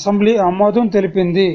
assembly ఆమోదం తెలిపింది